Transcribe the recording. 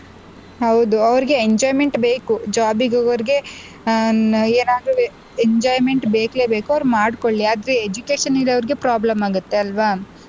ಹೌದು ಅವ್ರಿಗೆ enjoyment ಬೇಕು job ಗೆ ಹೋಗೋರ್ಗೆ ಅಹ್ ಏನಾದ್ರು Enjoyment ಬೇಕೇಬೇಕು ಅವ್ರು ಮಾಡ್ಕೊಳ್ಳಿ ಆದ್ರೆ education ಇರೋರ್ಗೆ problem ಆಗುತ್ತೆ ಅಲ್ವಾ.